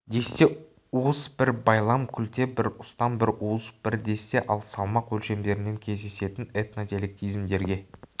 десте уыс бір байлам күлте бір ұстам бір уыс бір десте ал салмақ өлшемдерінен кездесетін этнодиалектизмдерге